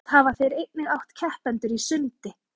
langoftast hafa þeir einnig átt keppendur í sundi